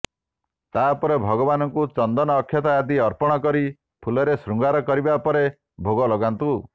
ତାପରେ ଭଗବାନଙ୍କୁ ଚନ୍ଦନ ଅକ୍ଷତ ଆଦି ଅର୍ପଣ କରି ଫୁଲରେ ଶୃଙ୍ଗାର କରିବା ପରେ ଭୋଗ ଲଗାନ୍ତୁ